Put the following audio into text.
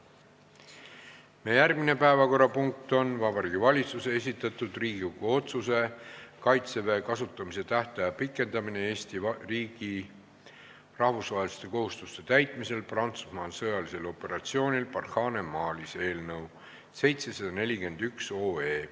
Meie järgmine päevakorrapunkt on Vabariigi Valitsuse esitatud Riigikogu otsuse "Kaitseväe kasutamise tähtaja pikendamine Eesti riigi rahvusvaheliste kohustuste täitmisel Prantsusmaa sõjalisel operatsioonil Barkhane Malis" eelnõu 741 esimene lugemine.